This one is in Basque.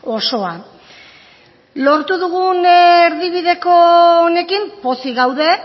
osoa lortu dugun erdibideko honekin pozik gaude